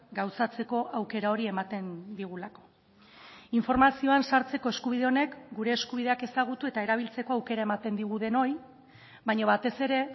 gauzatzeko aukera hori ematen digulako informazioan sartzeko eskubide honek gure eskubideak ezagutu eta erabiltzeko aukera ematen digu denoi baina batez ere